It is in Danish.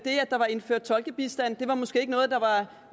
der var indført tolkebistand